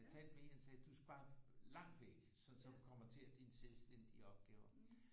Jeg talte med en han sagde du skal bare langt væk sådan så du kommer til dine selvstændige opgaver